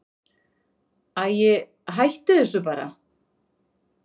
Æi, hættu þessu bara.